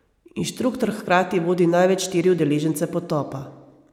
Inštruktor hkrati vodi največ štiri udeležence potopa.